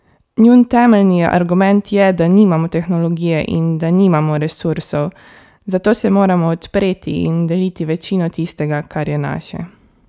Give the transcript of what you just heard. Njun temeljni argument je, da nimamo tehnologije in da nimamo resursov, zato se moramo odpreti in deliti večino tistega, kar je naše.